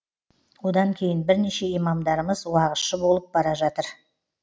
одан кейін бірнеше имамдарымыз уағызшы болып бара жатыр